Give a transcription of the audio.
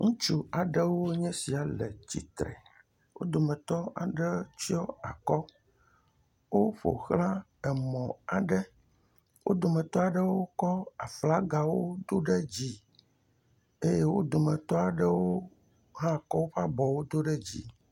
Ŋutsu aɖewoe nye esia le tsitre. Wo dometɔ aɖe tsɔ akɔ. Woƒoxla emɔ aɖe. Wo dometɔ aɖewo kɔ aflagawo do ɖe dzi eye wo dometɔ aɖewo hã kɔ woƒe abɔwo do ɖe dzi.